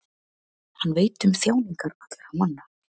hann veit um þjáningar allra manna